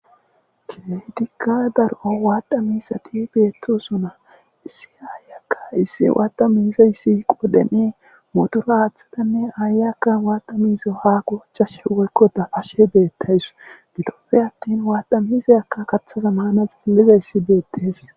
Keetikka dar'o waaddha miisati beettosuna issi aayakka issi waata miisa issi qodhenee motura aaththatanne aayakka waata miize haa qochashe wolko daashe beettays gitoppe attin waata misayakka kaththazamana xielliza issi beettees.